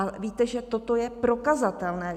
A víte, že toto je prokazatelné.